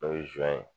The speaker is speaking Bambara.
N'o ye zon ye